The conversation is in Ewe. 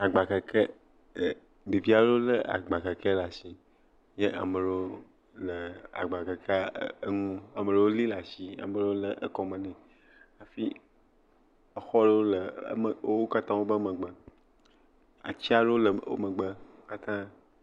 Agbakeke, ɖevi aɖewo lé agbakeke aɖe ɖe asi ye ame ɖewo le agbakeke ŋu amelewo li la si ame ɖewo le ekɔme nɛ, hafi exɔ aɖewo le wo katã woƒe megbe, ati aɖewo le woƒe megbe.